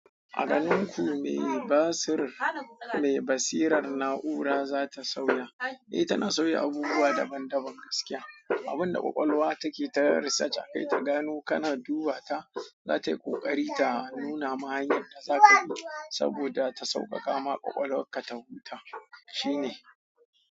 A ganin ku me basirar na'ura za ta sauya? Eh tana sauya abubuwa daban daban gaskiya. Abin da ƙwaƙwalwa take ta research akai ta gano kana duba ta, za ta yi ƙoƙari ta nuna ma hanyar da zaka bi saboda ta sauƙaƙa ma ƙwaƙwalwa ka ta huta. Shi ne.